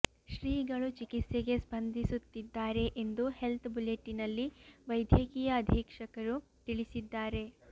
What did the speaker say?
ಶ್ರೀಗಳು ಚಿಕಿತ್ಸೆಗೆ ಸ್ಪಂದಿಸುತ್ತಿದ್ದಾರೆ ಎಂದು ಹೆಲ್ತ್ ಬುಲೆಟಿನ್ ನಲ್ಲಿ ವೈದ್ಯಕೀಯ ಅಧೀಕ್ಷಕರು ತಿಳಿಸಿದ್ದಾರೆ